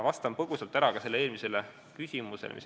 Vastan põgusalt ka eelmisele küsimusele.